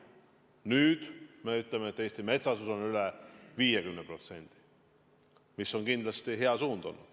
Nüüd me ütleme, et Eesti metsasus on üle 50%, mis on kindlasti hea suund.